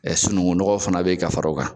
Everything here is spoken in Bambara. sunungunnɔgɔ fana bɛ yen ka fara o kan.